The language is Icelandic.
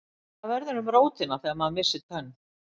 Hvað verður um rótina þegar maður missir tönn?